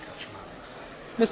Pani przewodnicząca!